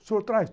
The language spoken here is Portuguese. O senhor traz?